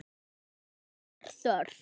Það er þörf.